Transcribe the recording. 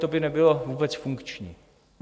To by nebylo vůbec funkční.